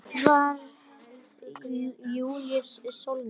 Edvarð Júlíus Sólnes.